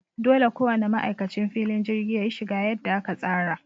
Dole ko wane ma'aikacin filin jirgi yayi shiga yadda aka tsara.